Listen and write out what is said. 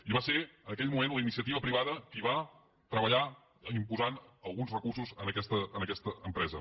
i va ser en aquell moment la iniciativa privada qui hi va treballar posant alguns recursos en aquesta empresa